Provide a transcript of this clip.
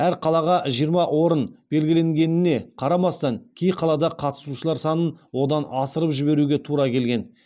әр қалаға жиырма орын белгіленгеніне қарамастан кей қалада қатысушылар санын одан асырып жіберуге тура келген